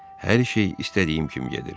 Hər şey istədiyim kimi gedir.